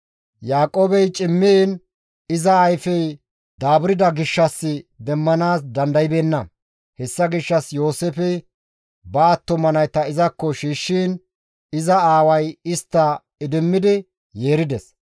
Yaaqoobey cimmiin iza ayfey daaburda gishshas demmanaas dandaybeenna. Hessa gishshas Yooseefey ba attuma nayta izakko shiishshiin iza aaway istta idimmidi yeerides.